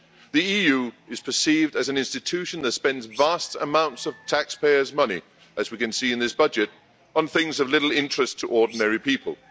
The EU is perceived as an institution that spends vast amounts of taxpayers' money as we can see in this budget on things of little interest to ordinary people.